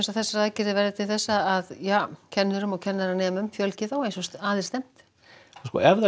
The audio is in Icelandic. að þessar aðgerðir verði til þess að kennurum og kennaranemum fjölgi ef þær